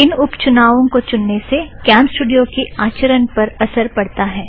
इन उप चुनावों को चुनने से कॅमस्टूड़ियो की आचरण पर असर पड़ता है